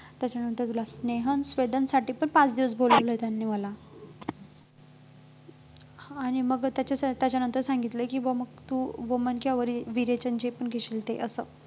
त्याच्यानंतर तूला स्नेहन स्वेदनसाठी पण पाच दिवस बोलावलंय त्यांनी मला हा आणि मग त्याच्यासाठी त्याच्यानंतर सांगितलंय कि मग तू वमन किंवा विरेविरेचन जे पण घेशील ते असं